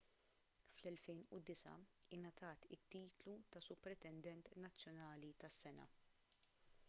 fl-2009 ingħatat it-titlu ta' supretendent nazzjonali tas-sena